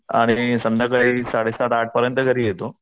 आणि संध्याकाळी सडे सात आठ पर्यंत घरी येतो.